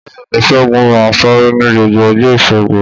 Bẹ́ẹ̀ ni, Segun máa ń sáré ní gbogbo ọjọ́ Ìṣẹ́gun